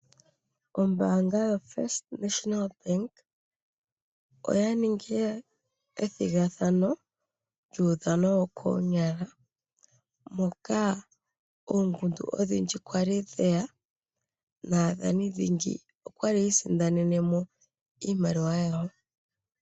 Ombaanga yoFirst National Bank oyaningi ethigathano lyuudhano wo konyala moka oongundu odhindji kwali dheya nadhani dhingi okwali yiisindanenemo iimaliwa yawo.